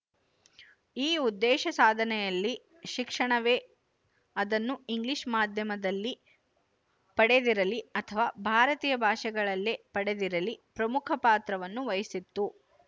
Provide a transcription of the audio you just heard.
ಈ ಉದ್ದೇಶ ಸಾಧನೆಯಲ್ಲಿ ಶಿಕ್ಷಣವೇಅದನ್ನು ಇಂಗ್ಲಿಶ ಮಾಧ್ಯಮದಲ್ಲಿ ಪಡೆದಿರಲಿ ಅಥವಾ ಭಾರತೀಯ ಭಾಷೆಗಳಲ್ಲಿಯೇ ಪಡೆದಿರಲಿ ಪ್ರಮುಖ ಪಾತ್ರವನ್ನು ವಹಿಸಿತ್ತು